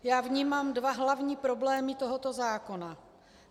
Já vnímám dva hlavní problémy tohoto zákona.